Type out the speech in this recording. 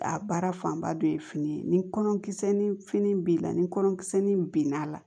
A baara fanba dɔ ye fini ye ni kɔnɔ kisɛ ni fini b'i la ni kɔnɔ kisɛ nin binn'a la